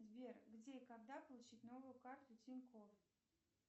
сбер где и когда получить новую карту тинькоф